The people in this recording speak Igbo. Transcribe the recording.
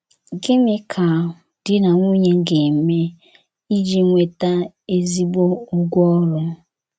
Gịnị ka di na nwunye ga - eme iji nweta “ ezi ụgwọ ọrụ ”?